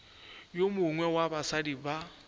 yo mongwe wa basadi ba